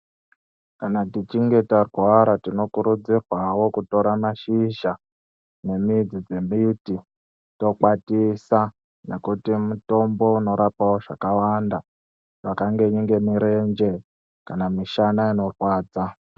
Kana tichinge tarwara tinokurudzirwawo kutora mashizha nemidzi dzemimbiti tokwatisa nekuti mutombo unorapawo zvakawanda, zvakanenge murenje kana mishana unorwadza.